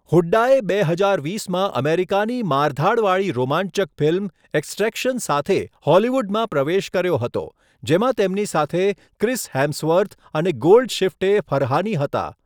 હુડ્ડાએ બે હજાર વીસમાં અમેરિકાની મારધાડવાળી રોમાંચક ફિલ્મ એક્સટ્રેક્શન સાથે હોલિવૂડમાં પ્રવેશ કર્યો હતો, જેમાં તેમની સાથે ક્રિસ હેમ્સવર્થ અને ગોલ્ડશિફ્ટે ફરહાની હતા.